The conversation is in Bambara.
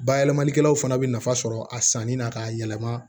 Bayɛlɛmalikɛlaw fana bɛ nafa sɔrɔ a sanni na k'a yɛlɛma